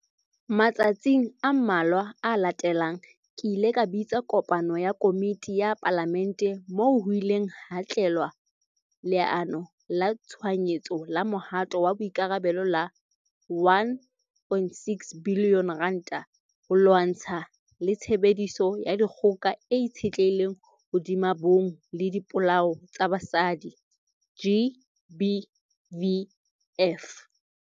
Matsatsing a mmalwa a latelang, ke ile ka bitsa kopano ya komiti ya Palamente, moo ho ileng hatlalewa Leano la Tshohanyetso la Mohato wa Boikarabelo la R1.6 billion ho lwatshana le tshebediso ya dikgoka e itshetlehileng hodima bong le dipolao tsa basadi, GBVF.